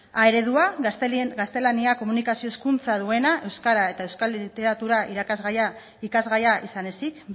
a eredua gaztelania komunikazio hizkuntza duena euskara eta euskal literatura ikasgaia izan ezik